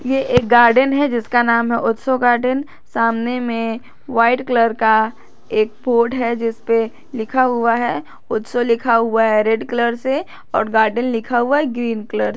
यह एक गार्डन है जिसका नाम है उत्सव गार्डन सामने में वाइट कलर का एक बोर्ड है जिस पर लिखा हुआ है उत्सव लिखा हुआ है रेड कलर से और गार्डन लिखा हुआ है ग्रीन कलर से।